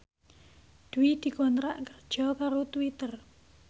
Dwi dikontrak kerja karo Twitter